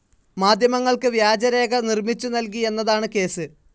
മാധ്യമങ്ങൾക്ക് വ്യാജരേഖ നിർമ്മിച്ചു നൽകി എന്നതാണ് കേസ്.